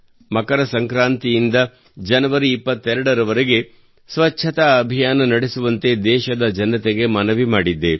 ಮಕರ ಸಂಕ್ರಾಂತಿಯಿಂದ ಜನವರಿ 22ರವರೆಗೆ ಸ್ವಚ್ಛತಾ ಅಭಿಯಾನ ನಡೆಸುವಂತೆ ದೇಶದ ಜನತೆಗೆ ಮನವಿ ಮಾಡಿದ್ದೆ